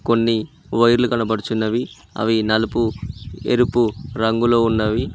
కొన్ని వైర్లు కనబడుచున్నవి అవి నలుపు ఎరుపు రంగులో ఉన్నవి.